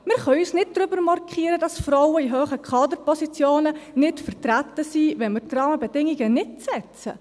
Wir können uns nicht darüber beklagen, dass Frauen in hohen Kaderpositionen nicht vertreten sind, wenn wir die Rahmenbedingungen nicht setzen.